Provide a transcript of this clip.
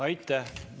Aitäh!